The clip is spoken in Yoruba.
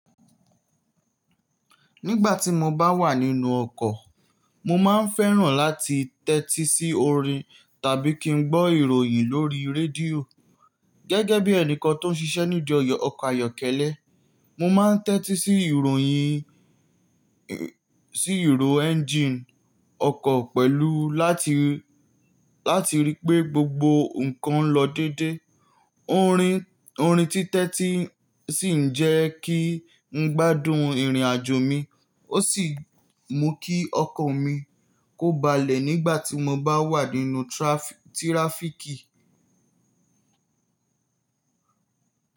Nígbà tí mo bá wà nínú ọkọ̀, mo máa ń fẹ́ràn láti tẹ́tí sí orin tàbí kí n gbọ́ ìròyìn lórí rédíò. Gẹ́gẹ́ bí ẹnìkan tó ń ṣiṣẹ́ nídi ọkọ̀ ayọ́kẹ́lẹ́, mo máa ń tẹ́tí sí ìròyìn, sí ìrò ẹ́ńjíìnì ọkọ̀ pẹ̀lú láti, láti ríi pé gbogbo nǹkan lọ dédé. Orin, orin títẹ́ tí sì ń jẹ́ kí n gbádùn ìrìnàjò mi, ó sì mú kí ọkan mi kó balẹ̀ nígbà tí mo bá wà nínú tíráfíkì.